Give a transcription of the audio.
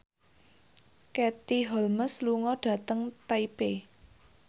Katie Holmes lunga dhateng Taipei